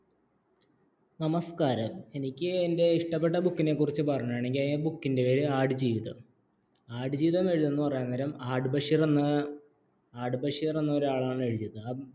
നമസ്കാരം എനിക്ക് എൻറെ ഇഷ്ടപ്പെട്ട ബുക്കിന്റെ കുറിച്ച് പറയണമെങ്കിൽ ആട് ജീവിതം ആടുജീവിതം എഴുതുന്നു പറയുന്ന നേരം ആട് ബഷീർ എന്ന ഒരാളാണ് എഴുതിയത്